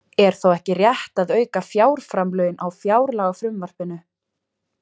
Er þá ekki rétt að auka fjárframlögin á fjárlagafrumvarpinu?